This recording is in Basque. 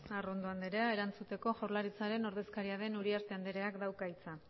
arrondo andrea erantzuteko jaurlaritzaren ordezkaria den uriarte andreak dauka hitza